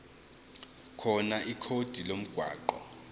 khona ikhodi lomgwaqo